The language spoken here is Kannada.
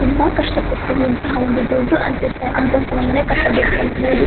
ತುಂಬಾ ಕಷ್ಟಪಟ್ಟು ಇಂತಹ ಒಂದು ದೊಡ್ಡ ಅಂತಸ್ಥ ಅಂತಸ್ತಿನ ಮನೆ ಕಟ್ಟಬೇಕೆಂಬುವುದು --